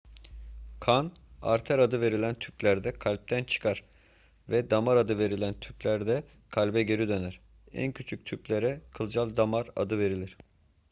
kan arter adı verilen tüplerde kalpten çıkar ve damar adı verilen tüplerde kalbe geri döner en küçük tüplere kılcal damar adı verilir